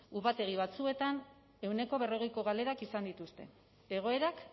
upategi batzuetan ehuneko berrogeiko galerak izan dituzte egoerak